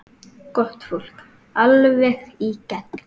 Gott fólk, alveg í gegn.